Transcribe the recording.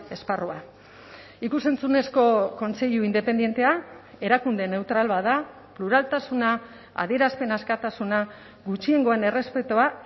esparrua ikus entzunezko kontseilu independentea erakundeen neutral bat da pluraltasuna adierazpen askatasuna gutxiengoen errespetua